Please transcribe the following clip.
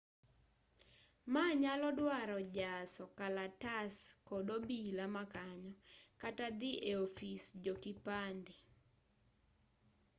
maa nyalo dwaro jaso kalatas kod obila makanyo kata dhi eofis jokipande